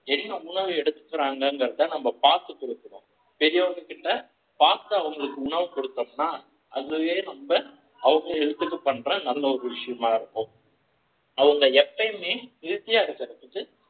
என்ன உணவு எடுத்துக்கிறான்கறத நம்ம பார்த்து கொடுக்கணும் பெரியவங்க கிட்ட fast உணவு கொடுத்தோம்னா அதுவே நம்ம அவங்க health க்கு பண்ற நல்ல ஒரு விஷயமா இருக்கும் அவங்க எப்பயுமே இகழ்ச்சியாய் இருப்பதற்கு